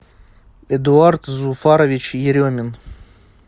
эдуард зуфарович еремин